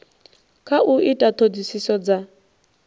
kha u ita ṱhoḓisiso dza